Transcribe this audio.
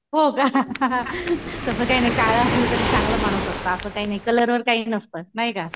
हो का तसं काही नाही काळ असल तरी चांगलं माणूस असतं. असं काही नाही कलरवर काही नसतं नाही का?